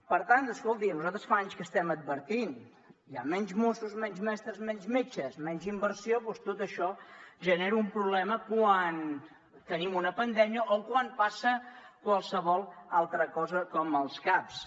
per tant escolti nosaltres fa anys que estem advertint hi ha menys mossos menys mestres menys metges menys inversió doncs tot això genera un problema quan tenim una pandèmia o quan passa qualsevol altra cosa com els caps